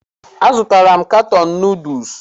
A zụtala m katọn nuduls.